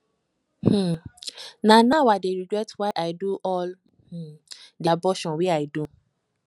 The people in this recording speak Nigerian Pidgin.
um na now i dey regret why i do all um the abortion wey i do